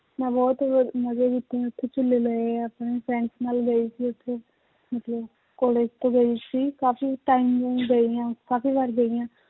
ਮੈਂ ਬਹੁਤ ਮਜ਼ਾ ਲਿੱਤੇ ਹੈ ਉੱਥੇ ਝੂਲੇ ਲਏ ਹੈ ਆਪਣੇ friends ਨਾਲ ਗਈ ਸੀ ਉੱਥੇ ਮਤਲਬ college ਤੋਂ ਗਏ ਸੀ ਕਾਫ਼ੀ time ਗਈ ਹਾਂ ਕਾਫ਼ੀ ਵਾਰ ਗਈ ਹਾਂ